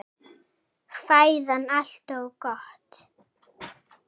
Fæðið allt of gott!